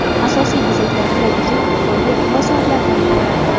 Asosiy bezaklar bilaguzuk, kolye va soatlardan iboratdir.